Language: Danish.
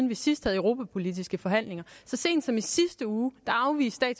vi sidst havde europapolitiske forhandlinger så sent som i sidste uge afviste